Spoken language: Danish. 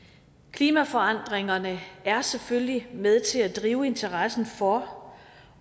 klimaforandringerne er selvfølgelig med til at drive interessen for